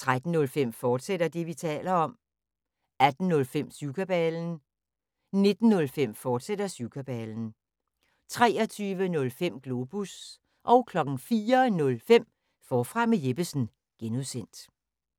13:05: Det, vi taler om, fortsat 18:05: Syvkabalen 19:05: Syvkabalen, fortsat 23:05: Globus 04:05: Forfra med Jeppesen (G)